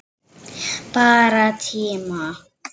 Bara tíma